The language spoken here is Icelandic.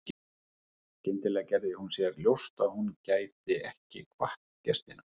Skyndilega gerði hún sér ljóst að hún gæti ekki kvatt gestina.